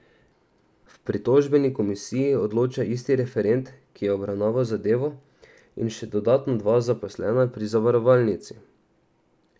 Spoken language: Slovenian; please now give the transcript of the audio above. V pritožbeni komisiji odloča isti referent, ki je obravnaval zadevo, in še dodatno dva zaposlena pri zavarovalnici.